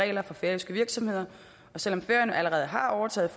regler for færøske virksomheder og selv om færøerne allerede har overtaget